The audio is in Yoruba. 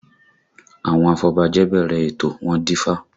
Àwọn afọbajẹ bẹ̀rẹ̀ ètò, wọ́n dífá